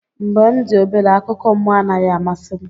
Mgbe m dị obere, akụkọ mmụọ anaghị amasị m.